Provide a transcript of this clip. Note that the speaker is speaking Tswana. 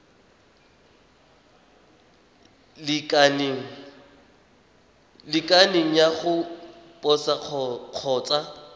lekaneng ya go posa kgotsa